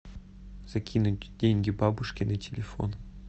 закинуть деньги бабушке на телефон